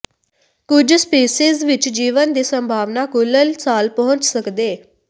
ਕੁਝ ਸਪੀਸੀਜ਼ ਵਿੱਚ ਜੀਵਨ ਦੀ ਸੰਭਾਵਨਾ ਕੁਲ੍ਲ ਸਾਲ ਪਹੁੰਚ ਸਕਦੇ